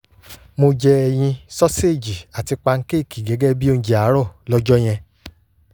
mo jẹ ẹyin soseji àti pankéèkì gẹ́gẹ́ bíi oúnjẹ àárọ̀ lọ́jọ́ yẹn